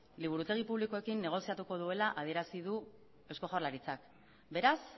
liburutegi publikoekin negoziatuko duela adierazi du eusko jaurlaritzak beraz